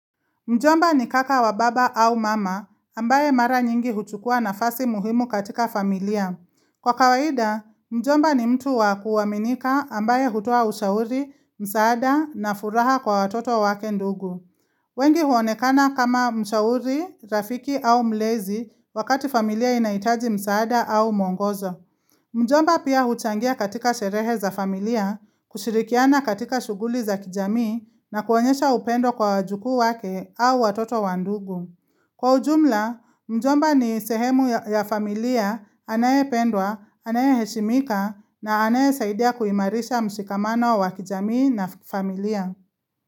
Mjomba ni kaka wa baba au mama ambaye mara nyingi huchukua nafasi muhimu katika familia. Kwa kawaida, mjomba ni mtu wa kuaminika ambaye hutoa ushauri, msaada na furaha kwa watoto wake ndugu. Wengi huonekana kama mshauri, rafiki au mlezi wakati familia inahitaji msaada au mwongozo. Mjomba pia huchangia katika sherehe za familia, kushirikiana katika shughuli za kijami na kuonyesha upendo kwa wajukuu wake au watoto wa ndugu. Kwa ujumla, mjomba ni sehemu ya familia anayependwa, anayeheshimika na anaye saidia kuimarisha mshikamano wa kijamii na familia.